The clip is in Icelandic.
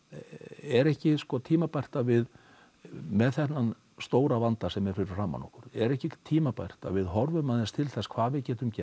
er ekki tímabært að við með þennan stóra vanda sem er fyrir framan okkur er ekki tímabært að við horfum aðeins til þess hvað við getum gert